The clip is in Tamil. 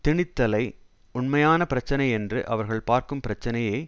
திணித்தலை உண்மையான பிரச்சினை என்று அவர்கள் பார்க்கும் பிரச்சினையை